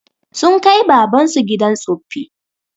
Sun kai baban su gidan tsoffi